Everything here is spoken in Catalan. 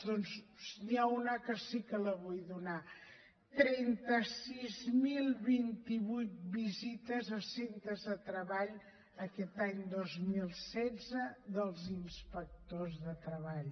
doncs n’hi ha una que sí que la vull donar trenta sis mil vint vuit visites a centres de treball aquest any dos mil setze dels inspectors de treball